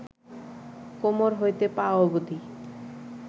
কোমর হইতে পা অবধি